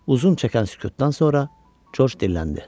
Uzun çəkən sükutdan sonra George dilləndi.